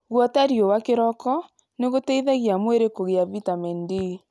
Guota riũa kĩroko nĩgũteithagia mwĩrĩ kũgĩa vitamin D.